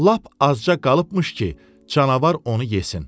Lap azca qalıbmış ki, canavar onu yesin.